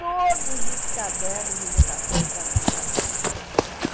todos os cadernos de votação do Estado de São Paulo.